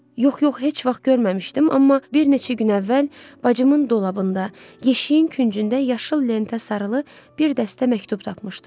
Yox, yox, heç vaxt görməmişdim, amma bir neçə gün əvvəl bacımın dolabında, yeşiyin küncündə yaşıl lentə sarılı bir dəstə məktub tapmışdım.